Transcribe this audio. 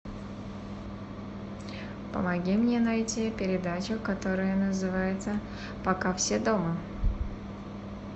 помоги мне найти передачу которая называется пока все дома